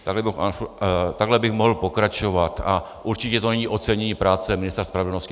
Takhle bych mohl pokračovat a určitě to není ocenění práce ministra spravedlnosti.